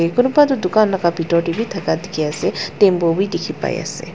Kunuba tuh dukhan laga bethor dae bhi thaka dekhe ase tempo bhi dekhe pai ase.